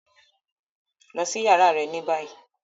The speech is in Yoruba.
Lọ si yàrá rẹ ni bayi!